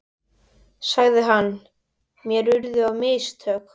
sagði hann, mér urðu á mistök.